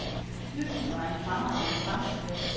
Bygden var en fremragende fangstplads.